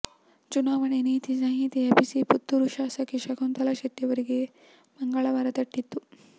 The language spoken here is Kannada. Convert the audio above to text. ಚುನಾವಣೆ ನೀತಿ ಸಂಹಿತೆಯ ಬಿಸಿ ಪುತ್ತೂರು ಶಾಸಕಿ ಶಕುಂತಲಾ ಶೆಟ್ಟಿ ಅವರಿಗೆ ಮಂಗಳವಾರ ತಟ್ಟಿತು